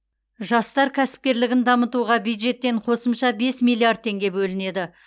жастар кәсіпкерлігін дамытуға бюджеттен қосымша бес миллиард теңге бөлінеді